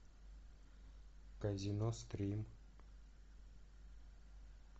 казино стрим